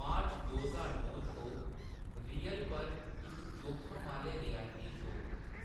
मार्च दो ज्हार नौ च, ओह्‌‌ रियल पर इक जोखम आह्‌‌‌ले रियलिटी शो